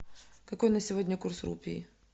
какой на сегодня курс рупий